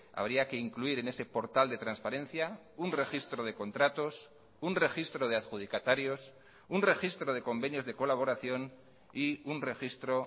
habría que incluir en ese portal de transparencia un registro de contratos un registro de adjudicatarios un registro de convenios de colaboración y un registro